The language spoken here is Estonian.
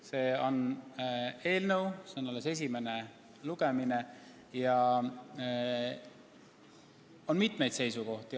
See on eelnõu, see on alles esimene lugemine ja on mitmeid seisukohti.